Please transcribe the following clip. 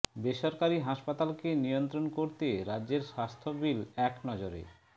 বেসরকারি হাসপাতালকে নিয়ন্ত্রণ করতে রাজ্যের স্বাস্থ্য বিল এক নজরে